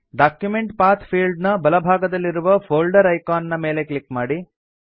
document path field ನ ಬಲ ಭಾಗದಲ್ಲಿರುವ ಫೋಲ್ಡರ್ ಐಕಾನ್ ನ ಮೇಲೆ ಕ್ಲಿಕ್ ಮಾಡಿ